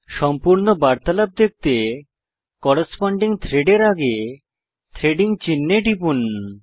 সম্পূর্ণ বার্তালাপ দেখতে করেসপন্ডিং থ্রেড এর আগে থ্রেডিং চিনহে টিপুন